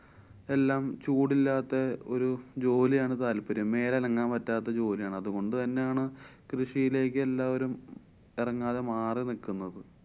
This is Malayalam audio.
എല്ലാം ചൂടില്ലാത്തെ ഒരു ജോലിയാണ് താല്‍പര്യം. മേലനങ്ങാന്‍ പറ്റാത്ത ജോലിയാണ്. അതുകൊണ്ട് തന്നെയാണ് കൃഷി ശീലാക്കിയ എല്ലാവരും ഉറങ്ങാതെ മാറി നിക്കുന്നത്.